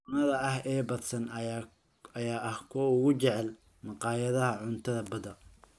Tuunada ahi ee badsan ayaa ah kuwa ugu jecel maqaayadaha cuntada badda.